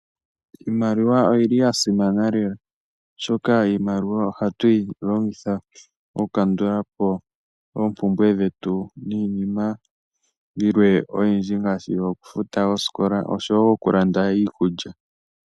Iimaliwa oyi li ya simana lela oshoka iimaliwa oha tu yi longitha okukandulapo oompumbwe dhetu niinima yilwe oyindji ngaashi okufuta oosikola oshowo okulanda iikulya.